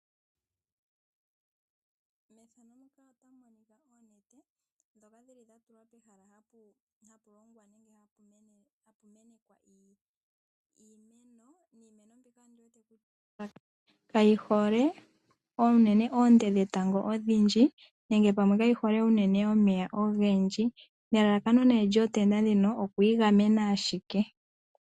Oonete dhatulwa pehala mpono hapu mene iimeno, iimeno mbyono kayi hole oonte dhetango odhindji yonkayi hole omeya ogendji. Elalakano lyoonete ndhono okwiigamena ashike.